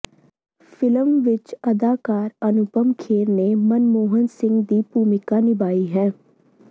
film ਵਿੱਚ ਅਦਾਕਾਰ ਅਨੁਪਮ ਖੇਰ ਨੇ ਮਨਮੋਹਨ ਸਿੰਘ ਦੀ ਭੂਮਿਕਾ ਨਿਭਾਈ ਹੈ